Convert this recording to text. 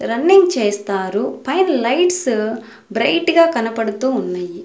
Running చేస్తారు పైన lights bright గా కనపడుతూ ఉన్నాయి.